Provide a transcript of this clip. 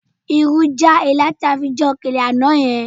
Irú já ilá tí a fi jẹ òkèlè àná yẹn